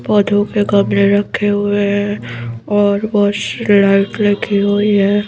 पौधों के गमले रखे हुए हैं और बहुत सी लाइट लगी हुई है।